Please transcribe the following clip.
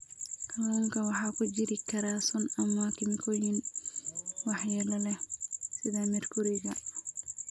Kalluunka waxaa ku jiri kara sun ama kiimikooyin waxyeello leh sida meerkuriga.